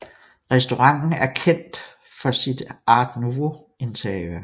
Restauranten erkendt for sit Art Nouveau interiør